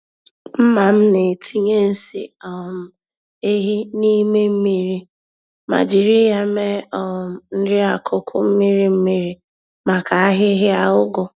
Mma m na-etinye nsị um ehi n'ime mmiri ma jírí ya mee um nri-akụkụ mmiri-mmiri, maka ahịhịa ụgụ.